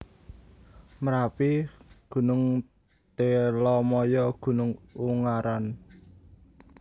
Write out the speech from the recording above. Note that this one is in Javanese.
Merapi Gn Telomoyo Gn Ungaran